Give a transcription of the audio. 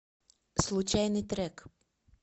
случайный трек